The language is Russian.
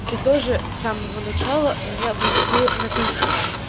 ты тоже с самого начала меня выводил на конфликт